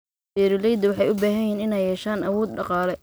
Beeralayda waxay u baahan yihiin inay yeeshaan awood dhaqaale.